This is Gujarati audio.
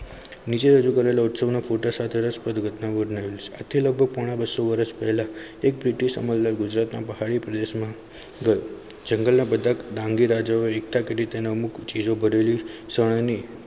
નીચે રજૂ કરેલા ઉત્સવના ફોટા સાથે રસપ્રદ ઘટના ઘટના લગભગ પોણા બસો વર્ષ પહેલાં એક મોટી સમગ્ર ગુજરાતમાં પહાડી પ્રદેશમાં જંગલ ના બધા ડાંગી રાજાઓ એકઠા કરી તેને અમુક ચીજો બદલી સની.